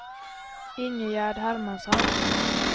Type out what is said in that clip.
Ingegerd Hermansson